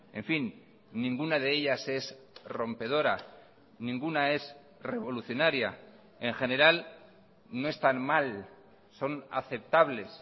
en fin ninguna de ellas es rompedora ninguna es revolucionaria en general no están mal son aceptables